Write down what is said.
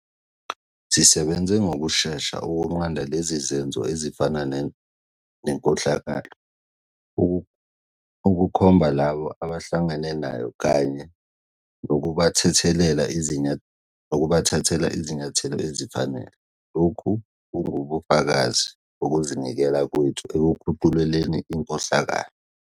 Sisebenze ngokushesha ukunqanda lezi zenzo ezifana nenkohlakalo, ukukhomba labo abahlangene nayo kanye nokubathathela izinyathelo ezifanele. Lokhu kungubufakazi bokuzinikela kwethu ekukhucululeni inkohlakalo.